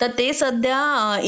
तर ते सध्या